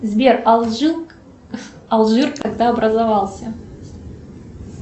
сбер алжир когда образовался